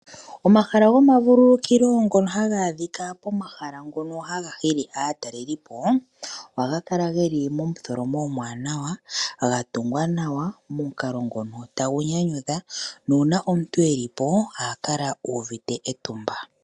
Omahala goma vululukilo ngono hadha adhika pomahala ngono haga hili aataleli po, ohaga kala geli momutholomo omwaanawa, ga tungwa nawa momukalo ngono tagu nyanyudha nuuna omuntu e li po oha kala uvite etumba.